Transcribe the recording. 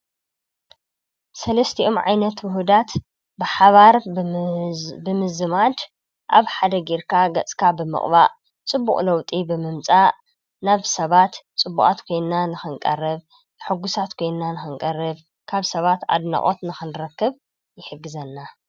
ሰለስቲኦም ዓይነት ዉሁዳት ብሓባር ብምዝማድ ኣብ ሓደ ገይርካ ገፅካ ብምቅባእ ፅቡቅ ለዉጢ ብምምጻእ ናብ ሰባት ፅቡቃት ኮይና ንክንቐርብ ሕጉሳት ኮይና ንክንቐርብ ካብ ሰባት ኣድናቆት ንክንረክብ ይሕግዘና።